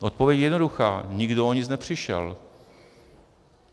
Odpověď je jednoduchá: Nikdo o nic nepřišel.